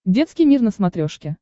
детский мир на смотрешке